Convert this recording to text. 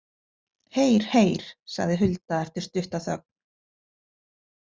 Heyr, heyr, sagði Hulda eftir stutta þögn.